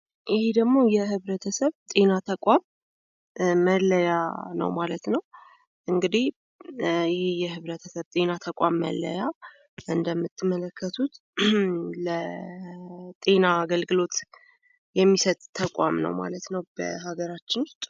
ይሄ ደግሞ የህብረተሰብ ጤና ተቋም መለያ ነው ማለት ነው። እንግዲህ የህብረተሰብ መለያ ጤና ተቋም እንደምትመለከቱት ለጤና አገልግሎት የሚሰጥ ተቋም ነው ማለት ነው በሀገራችን።